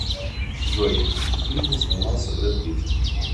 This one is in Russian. джой в фильме снимался бред питт